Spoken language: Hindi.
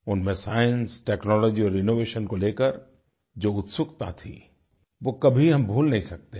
उनमें साइंस टेक्नोलॉजी और इनोवेशन को लेकर जो उत्सुकता थी वो कभी हम भूल नहीं सकते हैं